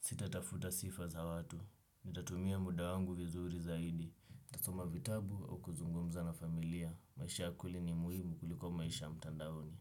Sita tafuta sifa za watu. Nitatumia muda wangu vizuri zaidi. Tasoma vitabu o kuzungumza na familia. Maisha kweli ni muhimu kuliko maisha mtandaoni.